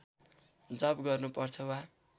जप गर्नुपर्छ वा